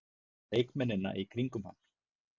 Leikmennina í kringum hann?